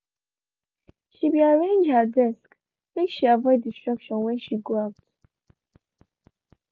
she be arranged her desk make she avoid distraction when she go out.